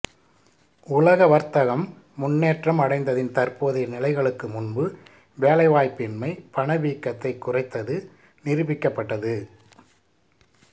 உலக வர்த்தகம் முன்னேற்றம் அடைந்ததன் தற்போதைய நிலைகளுக்கு முன்பு வேலைவாய்ப்பின்மை பணவீக்கத்தைக் குறைத்தது நிரூபிக்கப்பட்டது